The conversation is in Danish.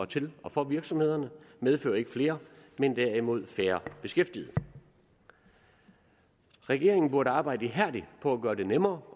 til og for virksomhederne medfører ikke flere men derimod færre beskæftigede regeringen burde arbejde ihærdigt på at gøre det nemmere